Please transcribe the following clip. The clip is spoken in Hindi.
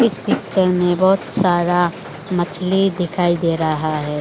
इस पिक्चर में बहुत सारा मछली दिखाई दे रहा है।